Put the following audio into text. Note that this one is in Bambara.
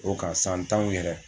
O ka san tanw yɛrɛ